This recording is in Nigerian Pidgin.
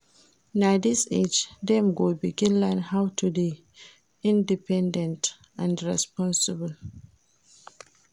Na dis age dem go begin learn how to dey independent and responsible.